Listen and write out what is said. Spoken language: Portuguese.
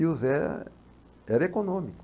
E o Zé era econômico.